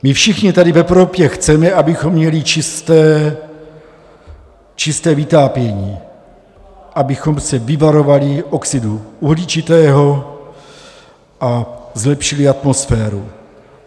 My všichni tady v Evropě chceme, abychom měli čisté vytápění, abychom se vyvarovali oxidu uhličitého a zlepšili atmosféru.